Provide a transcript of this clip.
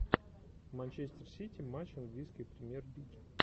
манчестер сити матч английской премьер лиги